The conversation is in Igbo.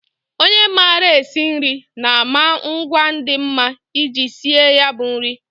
Onye maara esi nri na-ama ngwa dị mma iji sie ya bụ nri